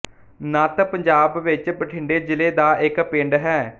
ਨੱਤ ਪੰਜਾਬ ਵਿੱਚ ਬਠਿੰਡੇ ਜ਼ਿਲ੍ਹੇ ਦਾ ਇੱਕ ਪਿੰਡ ਹੈ